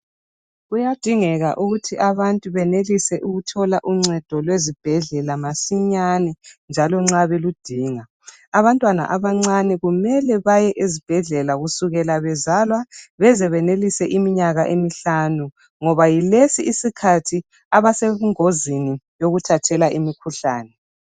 Kuyadingeka ukuthi abantu benelise ukuthola uncedo lwezibhedlela masinyane njalo nxa beludinga abantwana abancane kumele baye ezibhedlela kusukela bezalwa bezebenelise iminyaka emihlanu ngoba yilsi isikhathi esebungozini yokuthathela imikhuhlane.